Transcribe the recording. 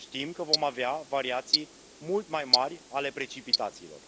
Știm că vom avea variații mult mai mari ale precipitațiilor.